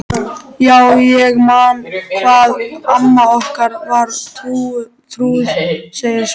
Já, ég man hvað amma okkar var trúuð, segir Svenni.